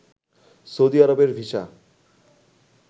Saudi আরবের visa